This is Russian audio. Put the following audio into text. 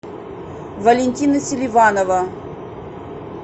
валентина селиванова